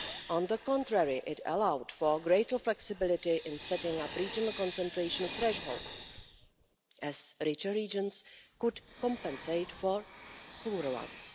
On the contrary, it allowed for greater flexibility in setting up regional concentration thresholds, as richer regions could compensate for poorer ones.